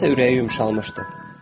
Nədənsə ürəyi yumşalmışdı.